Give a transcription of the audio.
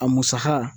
A musaka